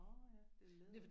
Nåh ja det er læder